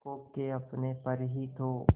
खो के अपने पर ही तो